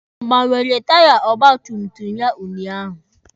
Ọ gbanwere taya ọgba tum tum ya unyaahụ?